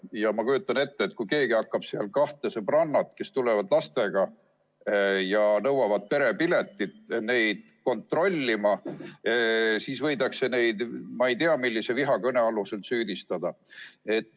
Ja ma kujutan ette, et kui keegi hakkab seal kahte sõbrannat, kes tulevad lastega ja nõuavad perepiletit, kontrollima, siis võidakse neid ma ei tea millise vihakõne alusel süüdistada.